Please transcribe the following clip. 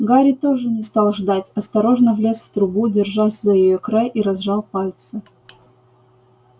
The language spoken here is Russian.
гарри тоже не стал ждать осторожно влез в трубу держась за её край и разжал пальцы